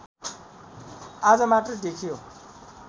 आज मात्र देखियो